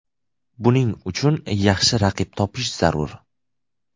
Buning uchun yaxshi raqib topish zarur.